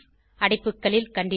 அடைப்புகளில் கண்டிஷன்